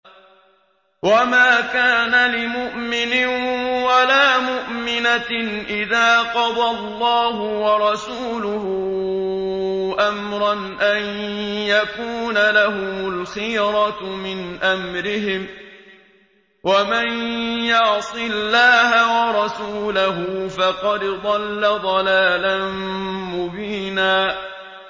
وَمَا كَانَ لِمُؤْمِنٍ وَلَا مُؤْمِنَةٍ إِذَا قَضَى اللَّهُ وَرَسُولُهُ أَمْرًا أَن يَكُونَ لَهُمُ الْخِيَرَةُ مِنْ أَمْرِهِمْ ۗ وَمَن يَعْصِ اللَّهَ وَرَسُولَهُ فَقَدْ ضَلَّ ضَلَالًا مُّبِينًا